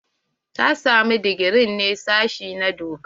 Ta samu digiri ne daga sashi na doka?